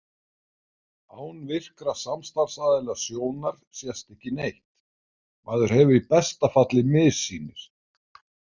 Án virkra samstarfsaðila sjónar sést ekki neitt, maður hefur í besta falli missýnir.